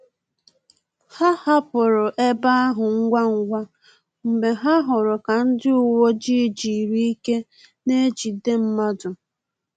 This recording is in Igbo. Ha hapụrụ ebe ahụ ngwa ngwa mgbe ha hụrụ ka ndị uweojii jiri ike n'ejide mmadụ